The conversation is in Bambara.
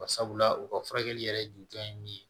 Barisabula u ka furakɛli yɛrɛ ju ye min ye